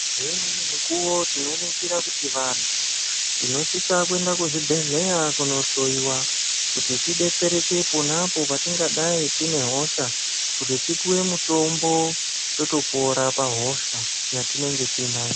Ngeimweni mikuwo tinoningira kuti vanthu tinosiisa kuenda kuzvibhedhleya kunohloiwa kuti tidetsereke pona apo patingadayi tine hosha kuti tipuwe mutombo totopora pahosha yatinenge tiinayo.